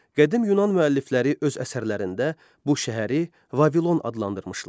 Qədim Yunan müəllifləri öz əsərlərində bu şəhəri Vavilon adlandırmışlar.